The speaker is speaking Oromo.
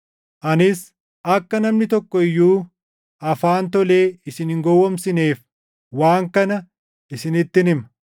Anis akka namni tokko iyyuu afaan tolee isin hin gowwoomsineef waan kana isinittin hima.